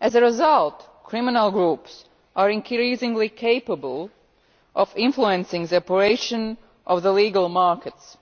As a result, criminal groups are increasingly capable of influencing the operation of the legal markets,